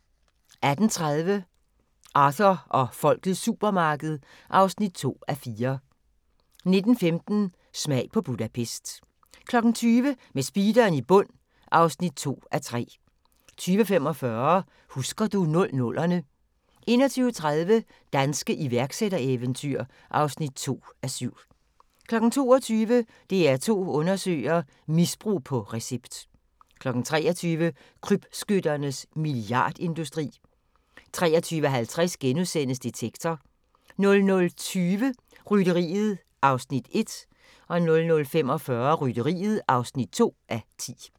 18:30: Arthur og folkets supermarked (2:4) 19:15: Smag på Budapest 20:00: Med speederen i bund (2:3) 20:45: Husker du 00'erne 21:30: Danske iværksættereventyr (2:7) 22:00: DR2 Undersøger: Misbrug på recept 23:00: Krybskytternes milliardindustri 23:50: Detektor * 00:20: Rytteriet (1:10) 00:45: Rytteriet (2:10)